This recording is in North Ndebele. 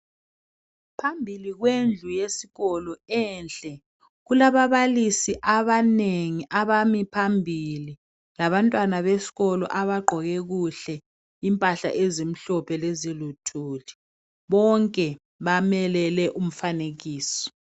Phambili kwendlu yesikolo enhle kulababalisi abanengi abami phambili labantwana besikolo abagqoke kuhle ,impahla ezimhlophe leziluthuli bonke bamelele umfanekiso.